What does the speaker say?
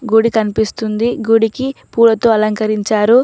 గుడి కనిపిస్తుంది గుడికి పూలతో అలంకరించారు.